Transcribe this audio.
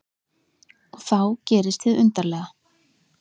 Og þá gerist hið undarlega.